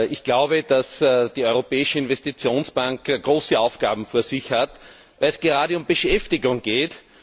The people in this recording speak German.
Ich glaube, dass die Europäische Investitionsbank große Aufgaben vor sich hat, gerade wenn es um Beschäftigung geht.